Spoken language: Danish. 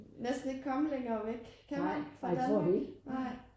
Næsten ikke komme længere væk kan man fra Danmark nej